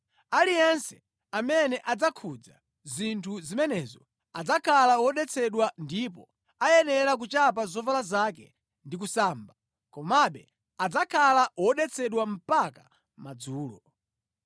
Aliyense amene adzakhudza zinthu zimenezo adzakhala wodetsedwa ndipo ayenera kuchapa zovala zake ndi kusamba, komabe adzakhala wodetsedwa mpaka madzulo.